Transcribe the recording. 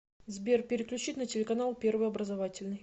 сбер переключить на телеканал первый образовательный